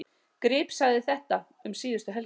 Grip sagði þeta um síðustu helgi: